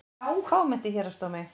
Fámennt í Héraðsdómi